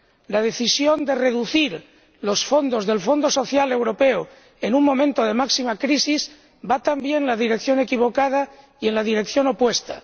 La decisión de reducir los fondos del Fondo Social Europeo en un momento de máxima crisis va también en la dirección equivocada y en la dirección opuesta.